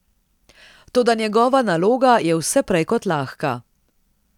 Toda njegova naloga je vse prej kot lahka.